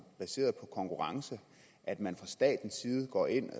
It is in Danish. baseret på konkurrence at man fra statens side går ind og